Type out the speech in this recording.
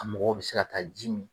A mɔgɔw bɛ se ka taa ji min.